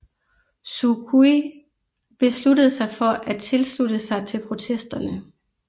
Suu Kyi besluttede sig for at tilslutte sig til protesterne